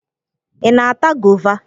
Ị na-ata gova?